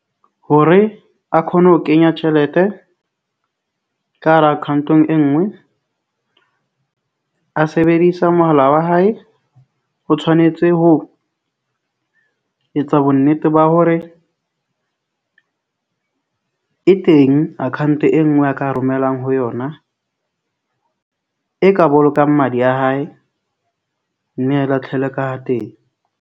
Hore a khone ho kenya tjhelete ka hara account-ong e nngwe a sebedisa mohala wa hae, ho tshwanetse ho ho etsa bo nnete ba hore e teng account e nngwe a ka romellang ho yona, e ka bolokang madi a hae mme a ka teng.